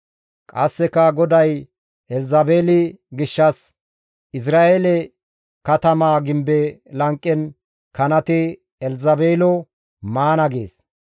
«Qasseka GODAY Elzabeeli gishshas, ‹Izra7eele katamaa gimbe lanqen kanati Elzabeelo maana› gees.